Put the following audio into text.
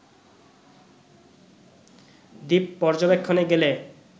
দ্বীপ পর্যবেক্ষণে গেলে